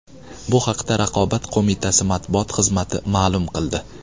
Bu haqda Raqobat qo‘mitasi matbuot xizmati ma’lum qildi .